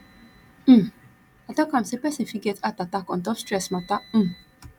um i talk am sey pesin fit get heart attack on top stress mata um